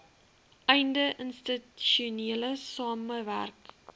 einde institusionele samewerk